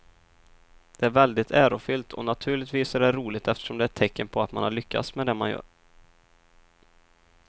Det är väldigt ärofyllt och naturligtvis är det roligt eftersom det är ett tecken på att man har lyckats med det man gör.